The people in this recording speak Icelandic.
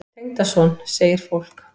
Tengdason? segir fólk.